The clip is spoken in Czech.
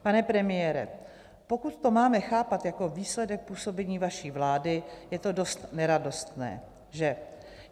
Pane premiére, pokud to máme chápat jako výsledek působení vaší vlády, je to dost neradostné, že?